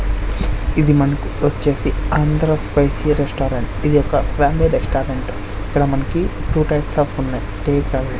ఇది మనకు వచ్చేసి ఆంధ్ర స్పైసి రెస్టారెంట్ ఇదొక ఫ్యామిలీ రెస్టారెంట్ ఇక్కడ మనకి టూ టైప్స్ అఫ్ ఉన్నాయి టేక్ అవే .